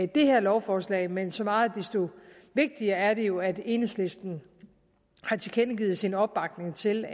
det her lovforslag men så meget desto vigtigere er det jo at enhedslisten har tilkendegivet sin opbakning til